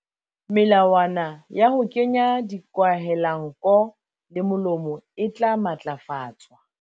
Melawana ya ho kenya dikwahelanko le molomo e tla matlafatswa.